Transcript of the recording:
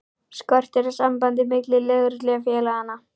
Skortir á samband milli lögreglu og félaganna?